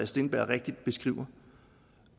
steenberg rigtigt beskriver